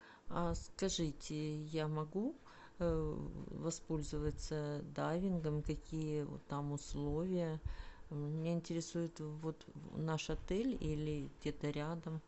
скажите я могу воспользоваться дайвингом какие там условия меня интересует вот наш отель или где то рядом